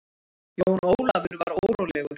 Jón Ólafur var órólegur.